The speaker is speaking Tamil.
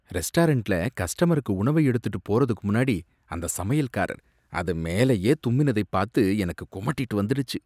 ரெஸ்டாரன்ட்ல கஸ்டமருக்கு உணவை எடுத்துட்டு போறதுக்கு முன்னாடி அந்த சமையல்காரர் அது மேலேயே தும்மினதைப் பாத்து எனக்கு குமட்டிட்டு வந்துடுச்சு.